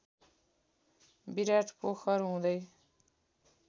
विराट पोखर हुँदै